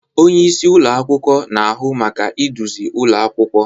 Onye isi ụlọ akwụkwọ na-ahụ maka iduzi ụlọ akwụkwọ.